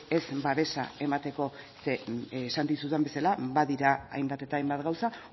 ez babesa emateko zeren esan dizudan bezala badira hainbat eta hainbat gauza